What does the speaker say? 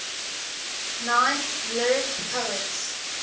nine lyric poets